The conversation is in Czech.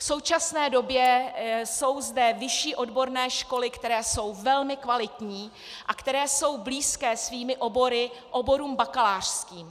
V současné době jsou zde vyšší odborné školy, které jsou velmi kvalitní a které jsou blízké svými obory oborům bakalářským.